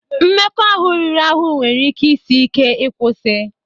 Mmekọahụ ahụ riri ahụ nwere ike isi ike ịkwụsị